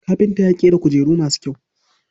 Kafinta ya ƙera kujeru masu kyau.